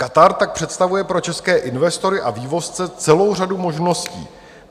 Katar tak představuje pro české investory a vývozce celou řadu možností.